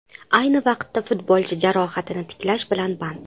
Ayni vaqtda futbolchi jarohatini tiklash bilan band.